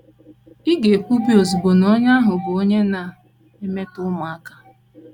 Ị̀ ga - ekwubi ozugbo na onye ahụ bụ onye na - emetọ ụmụaka?